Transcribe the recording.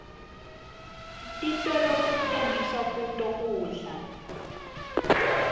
titolo sitsenga kuto kudla